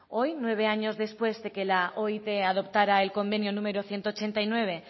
hoy nueve años después de que la oit adoptara el convenio número ciento ochenta y nueve